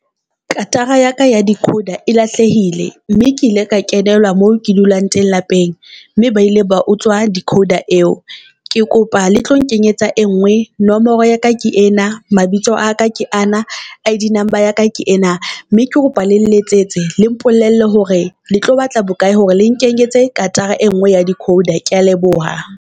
Katara ya ka ya decoder e lahlehile mme ke ile ka kenelwa moo ke dulang teng lapeng. Mme ba ile ba utswa decoder eo. Ke kopa le tlo nkenyetsa e ngwe, nomoro ya ka ke ena mabitso a ka ke ana. I_D number ya ka ke ena mme ke kopa le lletsetse, le mpolelle hore le tlo batla bokae hore le nkenyetse katara e ngwe ya decoder. Kea leboha.